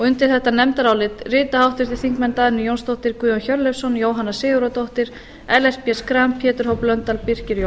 undir þetta nefndarálit rita háttvirtir þingmenn dagný jónsdóttir guðjón hjörleifsson jóhanna sigurðardóttir ellert b schram pétur h blöndal birkir j jónsson og